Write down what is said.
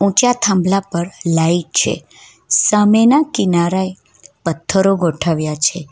ત્યાં થાંભલા પર લાઈટ છે સામેના કિનારા એ પથ્થરો ગોઠવ્યા છે.